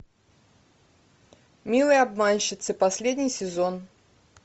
милые обманщицы последний сезон